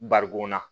Barikon na